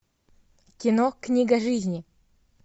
кино книга жизни